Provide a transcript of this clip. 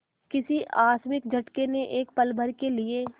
किसी आकस्मिक झटके ने एक पलभर के लिए